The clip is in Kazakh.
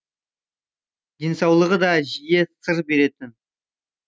денсаулығы да жиі сыр беретін